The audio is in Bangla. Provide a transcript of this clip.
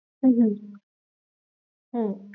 উম হম হম